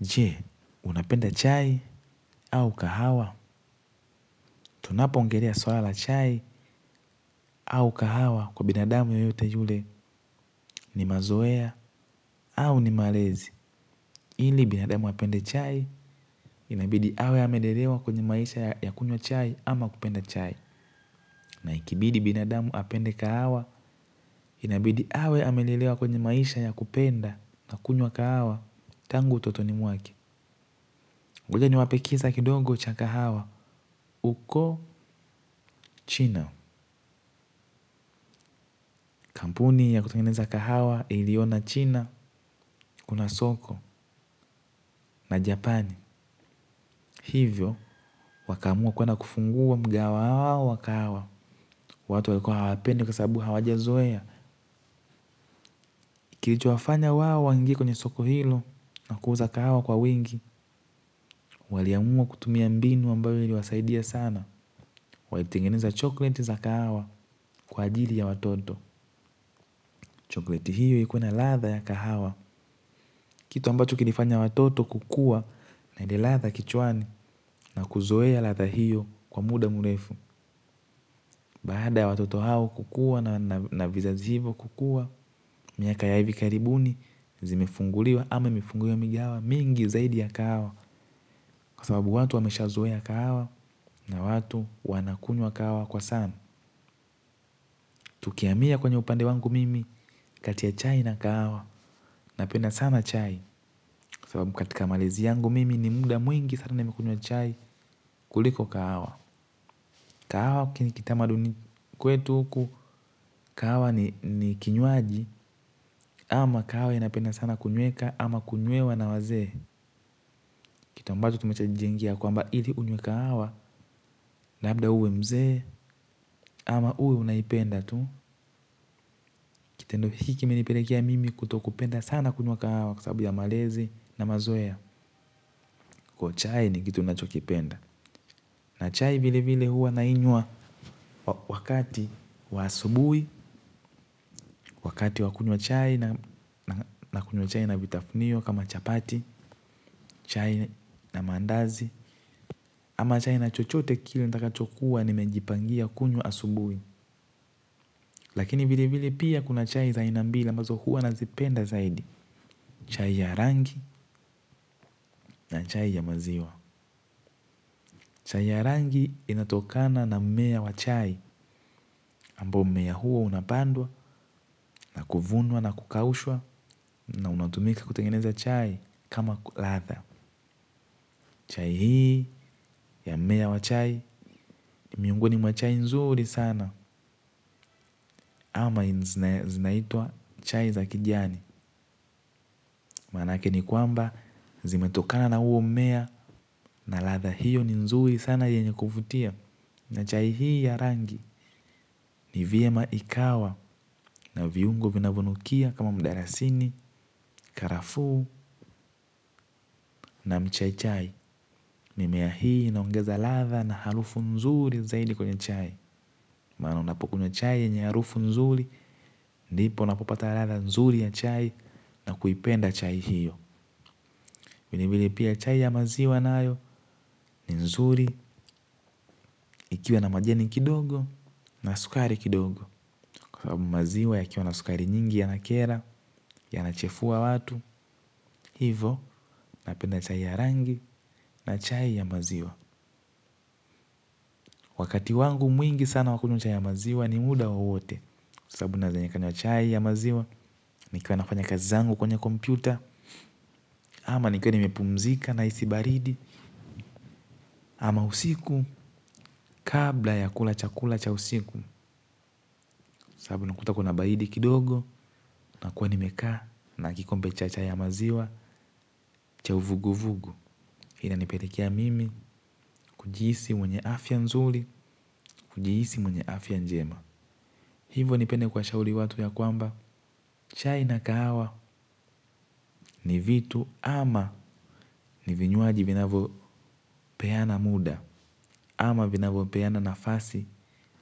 Je, unapenda chai au kahawa. Tunapo ongelea swala chai au kahawa kwa binadamu yoyote yule ni mazoea au ni malezi. Ili binadamu apende chai inabidi awe amelelewa kwenye maisha ya kunywa chai ama kupenda chai. Na ikibidi binadamu apende kahawa inabidi awe amelelewa kwenye maisha ya kupenda na kunywa kahawa. Tangu utotoni mwake ngoja niwape kisa kidogo cha kahawa. Uko chino kampuni ya kutengeneza kahawa iliona china, kuna soko, na japani. Hivyo, wakaamua kuwenda kufungua mga wao wa kahawa. Watu walikuwa hawa pendi kwa sababu hawaja zoea. Kilicho wafanya wao waingi kwenye soko hilo na kuuza kahawa kwa wingi. Waliamua kutumia mbinu ambayo iliwasaidia sana. Walitengeneza chokleti za kahawa kwa ajili ya watoto. Chokleti hiyo ikua na ladha ya kahawa. Kitu ambacho kilifanya watoto kukua na ile ladha kichwani na kuzoea ladha hiyo. Kwa muda mrefu, baada ya watoto hao kukua na vizazi hivo kukua, miaka ya hivi karibuni, zimefunguliwa ama imefunguliwa migahawa mingi hawa, mingi zaidi ya kahawa, kwa sababu watu wamesha zoea kahawa, na watu wanakunywa kahawa kwa sana. Tukihamia kwenye upande wangu mimi kati ya chai na kahawa, na penda sana chai, kwa sababu katika malezi yangu mimi ni muda mwingi sana nimekunywa chai kuliko kawa. Kahawa kini kitamaduni kwetu huku. Kahawa ni kinywaji ama kahawa inapenda sana kunyweka ama kunywewa na waze. Kitu ambacho tumesha jijengia kwamba ili unywe kahawa na labda uwe mzee ama uwe unaipenda tu. Kitendo hiki kime nipelekea mimi kuto kupenda sana kunywa kahawa kwa sababu ya malezi na mazoea. Kwa chai ni kitu ninachokipenda. Na chai vile vile hua nainywa wakati wa asubuhi, wakati wa kunywa chai na kunywa chai na vitafunio kama chapati, chai na mandazi, ama chai na chochote kile nitakachokua nimejipangia kunywa asubuhi. Lakini vile vile pia kuna chai za aina mbili ambazo hua nazipenda zaidi. Chai ya rangi na chai ya maziwa. Chai ya rangi inatokana na mmea wa chai. Ambao mmea huo unapandwa na kuvunwa na kukaushwa na unatumika kutengeneza chai kama ladha. Chai hii ya mmea wa chai, ni miongoni mwa chai nzuri sana ama zinaitwa chai za kijani. Manake ni kwamba zimetokana na huo mmea na ladha hiyo ni nzuri sana yenye kuvutia. Na chai hii ya rangi ni vyema ikawa na viungo vinavyo nukia kama mdalasini, karafu na mchai chai. Mimea hii inaongeza ladha na harufu nzuri zaidi kwenye chai. Maana unapokunywa chai yanye harufu nzuri, ndipo unapopata ladha nzuri ya chai na kuipenda chai hiyo. Vile vile pia chai ya maziwa nayo ni nzuri ikiwa na majani kidogo na sukari kidogo. Kwa sababu maziwa ya kiwa na sukari nyingi yana kera, yana chefua watu, hivo, napenda chai ya rangi na chai ya maziwa. Wakati wangu mwingi sana nakunywa chai ya maziwa ni muda wowote. Sababu naweza nikanywa chai ya maziwa, nikiwa nafanya kazi zangu kwenye kompyuta, ama nikiwa nimepumzika na hisi baridi, ama usiku kabla ya kula chakula cha usiku, sababu nakuta kuna baridi kidogo nakua nimekaa na kikombe cha chai ya maziwa, cha uvugu vugu. Inanipelekea mimi, kujihisi mwenye afya nzuri, kujihisi mwenye afya njema. Hivo nipende kwa shauri watu ya kwamba, chai na kahawa ni vitu ama ni vinywaji vinavo peana muda, ama vinavyo peana nafasi,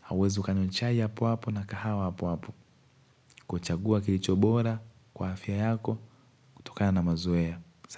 hauwezi kanywa chai hap hapo na kahawa hapo hapo. Kwa chagua kilicho bora, kwa afya yako, kutokana mazoea.